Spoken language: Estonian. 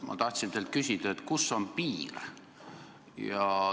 Ma tahtsin teilt küsida, kus on piir.